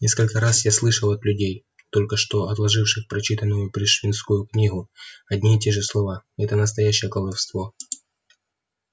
несколько раз я слышал от людей только что отложивших прочитанную пришвинскую книгу одни и те же слова это настоящее колдовство